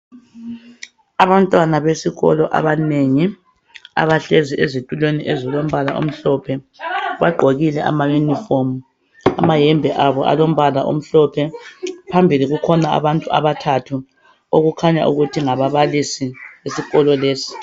Abantwana besikolo abanengi abahlezi ezitulweni ezilombala omhlophe bagqokile amayunifomu amayembe abo alombala omhlophe. Phambili kukhona abantu abathathu okukhanya ukuthi ngababalisi esikolo lesi.